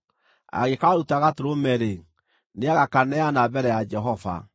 Angĩkaaruta gatũrũme-rĩ, nĩagakaneana mbere ya Jehova.